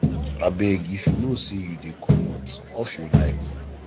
abeg if you know sey you dey comot off your light